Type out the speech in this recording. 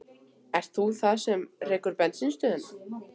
Ert það þú sem rekur bensínstöðina?